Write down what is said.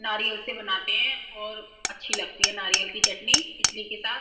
नारियल से बनाते है और अच्छी लगती है नारियल की चटनी इटली के साथ --